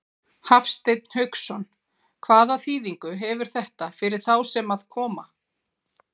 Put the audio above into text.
Hafsteinn Hauksson: Hvaða þýðingu hefur þetta fyrir þá sem að koma?